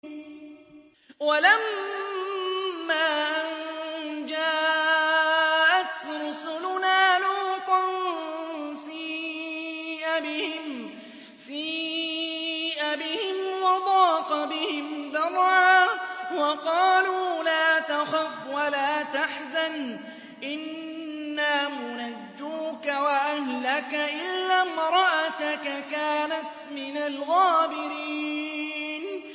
وَلَمَّا أَن جَاءَتْ رُسُلُنَا لُوطًا سِيءَ بِهِمْ وَضَاقَ بِهِمْ ذَرْعًا وَقَالُوا لَا تَخَفْ وَلَا تَحْزَنْ ۖ إِنَّا مُنَجُّوكَ وَأَهْلَكَ إِلَّا امْرَأَتَكَ كَانَتْ مِنَ الْغَابِرِينَ